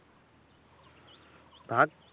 ,